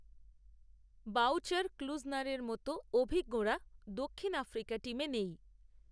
voucher ক্লূজনারের মতো অভিজ্ঞরা দক্ষিণ আফ্রিকা টিমে নেই